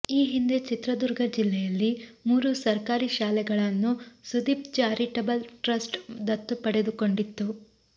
ಈ ಹಿಂದೆ ಚಿತ್ರದುರ್ಗ ಜಿಲ್ಲೆಯಲ್ಲಿ ಮೂರು ಸರ್ಕಾರಿ ಶಾಲೆಗಳನ್ನು ಸುದೀಪ್ ಚಾರಿಟಬಲ್ ಟ್ರಸ್ಟ್ ದತ್ತು ಪಡೆದುಕೊಂಡಿತ್ತು